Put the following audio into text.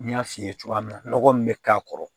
N y'a f'i ye cogoya min na nɔgɔ min bɛ k'a kɔrɔ